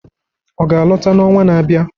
Ọ ga-alọta n'ọnwa na-abịa?